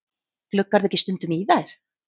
Gluggarðu ekki stundum í þær?